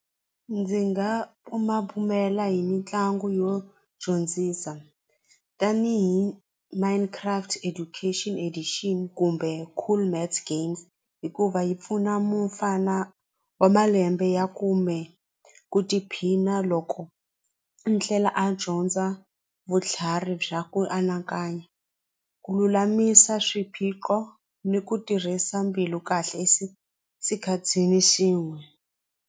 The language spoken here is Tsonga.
Ndzi nga bumabumela hi mitlangu yo dyondzisa tanihi minecraft education addition kumbe cool maths games hikuva yi pfuna mufana wa malembe ya kumbe ku tiphina loko ndlela a dyondza vutlhari bya ku anakanya ku lulamisa swiphiqo ni ku tirhisa mbilu kahle sikhathini xin'we.